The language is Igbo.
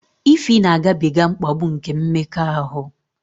Ify na-agabiga mkpagbu nke mmekọahụ